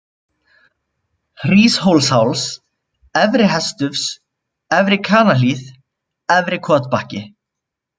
Hríshólsháls, Efri-Hestufs, Efri-Kanahlíð, Efri-Kotbakki